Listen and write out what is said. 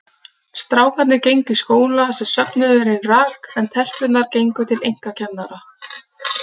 Strákarnir gengu í skóla sem söfnuðurinn rak, en telpurnar gengu til einkakennara.